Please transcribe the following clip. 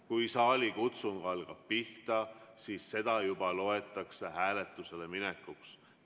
Kui saalikutsung hakkab pihta, siis seda loetakse juba hääletusele minekuks.